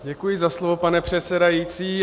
Děkuji za slovo, pane předsedající.